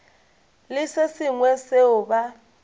le se sengwe seo ba